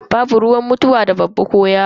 Babu ruwan mutuwa da babba ko yaro.